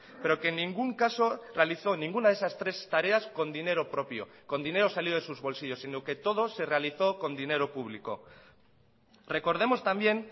pero que en ningún caso realizó ninguna de esas tres tareas con dinero propio con dinero salido de sus bolsillos sino que todo se realizó con dinero público recordemos también